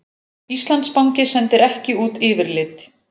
Íslandsbanki sendir ekki út yfirlit